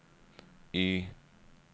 Y